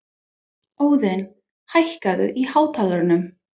Óðinn, hækkaðu í hátalaranum.